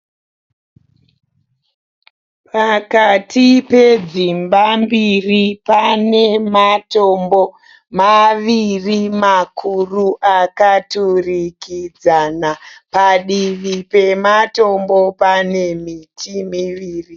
Pakati pedzimba mbiri pane matombo maviri makuru akaturikidzana. Padivi pematombo pane miti miviri.